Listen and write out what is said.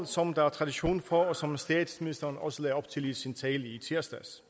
som der er tradition for og som statsministeren også lagde op til i sin tale i tirsdags